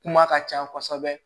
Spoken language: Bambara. Kuma ka ca kosɛbɛ